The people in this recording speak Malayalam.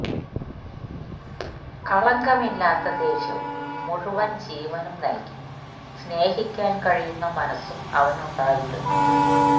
കളങ്കമില്ലാത്ത ദേഷ്യവും മുഴുവൻ ജീവനും നൽകി സ്നേഹിക്കാൻ കഴിയുന്ന മനസും അവനുണ്ടായിരുന്നു